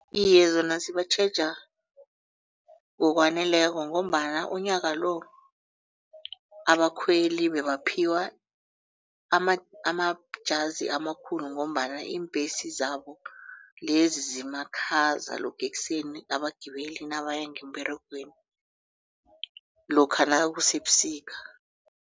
Iye zona zibatjheja ngokwaneleko ngombana umnyaka lo abakhweli bebaphiwa amajazi amakhulu ngombana iimbhesi zabo lezi zimakhaza lokha ekuseni abagibeli nabaya ngemberegweni lokha nakusebusika.